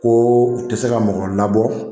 Ko u tɛ se ka mɔgɔ labɔ